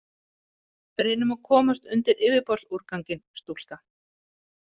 Reynum að komast undir yfirborðsúrganginn, stúlka.